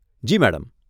જી, madam.